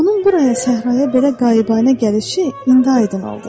Onun buraya səhraya belə qabianə gəlişi indi aydın oldu.